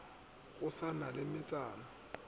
go sa na le metsana